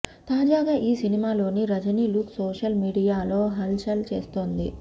తాజాగా ఈ సినిమాలోని రజనీ లుక్ సోషల్ మీడియాలో హల్ చల్ చేస్తోంది